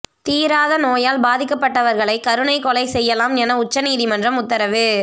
தீராத நோயால் பாதிக்கப்பட்டவர்களை கருணை கொலை செய்யலாம் என உச்சநீதிமன்றம் உத்தரவு